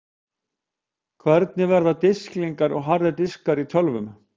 Hvernig verka disklingar og harðir diskar í tölvum?